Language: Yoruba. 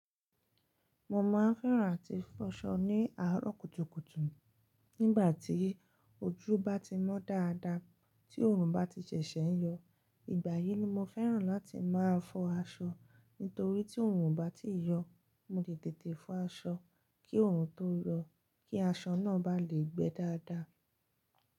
Mo máa ń fẹ́ràn àti fọ̀ṣọ ni àárọ̀ kùtùkùtù. Nígbà tí ojú bá ti mọ́ dáadáa, tí oòrùn bá ti ṣẹ̀ṣẹ̀ yọ, ìgbà yìí ni mo fẹ́ràn láti máa fọ aṣọ. Nítorí tí oòrùn bá ti yọ, mo lè tètè fọ aṣọ kí oòrùn tó yọ, kí aṣọ náà bá le gbẹ dáadáa.